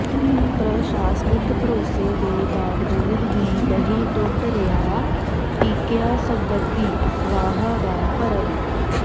ਪ੍ਰਸ਼ਾਸਨਿਕ ਭਰੋਸੇ ਦੇ ਬਾਵਜੂਦ ਵੀ ਨਹੀਂ ਟੁੱਟ ਰਿਹਾ ਟੀਕਿਆਂ ਸਬੰਧੀ ਅਫ਼ਵਾਹਾਂ ਦਾ ਭਰਮ